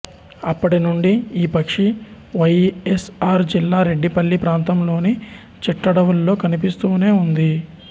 అప్పటినుండి ఈ పక్షి వైఎస్ఆర్ జిల్లా రెడ్డిపల్లి ప్రాంతంలోని చిట్టడవుల్లో కనిపిస్తూనే ఉంది